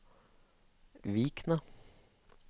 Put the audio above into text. Vikna